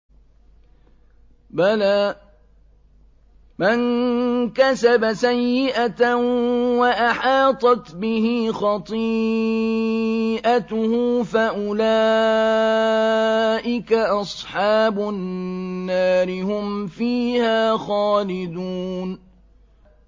بَلَىٰ مَن كَسَبَ سَيِّئَةً وَأَحَاطَتْ بِهِ خَطِيئَتُهُ فَأُولَٰئِكَ أَصْحَابُ النَّارِ ۖ هُمْ فِيهَا خَالِدُونَ